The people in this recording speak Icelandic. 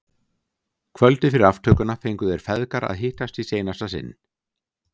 Kvöldið fyrir aftökuna fengu þeir feðgar að hittast í seinasta sinn.